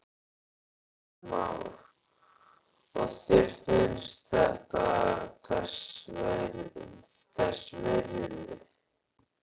Kristján Már: Og þér finnst þetta þess virði?